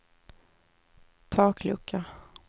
taklucka